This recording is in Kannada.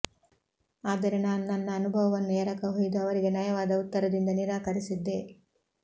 ಆದರೆ ನಾನು ನನ್ನ ಅನುಭವವನ್ನು ಎರಕ ಹೊಯ್ದು ಅವರಿಗೆ ನಯವಾದ ಉತ್ತರದಿಂದ ನಿರಾಕರಿಸಿದ್ದೆ